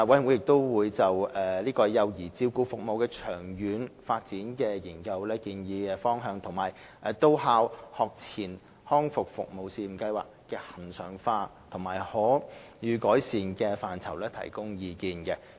委員會亦就幼兒照顧服務的長遠發展研究的建議方向及到校學前康復服務試驗計劃的恆常化及可予改善的範疇提供意見。